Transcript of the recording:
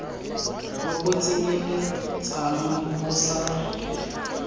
bo bo tsenyeletsang bo sa